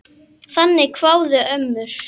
Þannig kváðu ömmur.